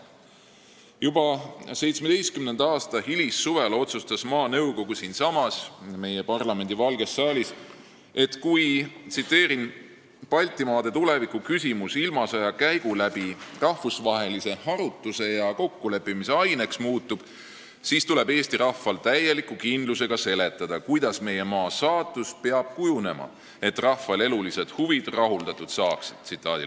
Juba 1917. aasta hilissuvel otsustas maanõukogu siinsamas meie parlamendi Valges saalis, et "kui Baltimaade tuleviku küsimus ilmasõja käigu läbi rahvusvahelise harutuse ja kokkuleppimise aineks muutub, siis tuleb Eesti rahval täieliku kindlusega seletada, kuidas meie maa saatus peab kujunema, et rahval elulised huvid rahuldatud saaksid.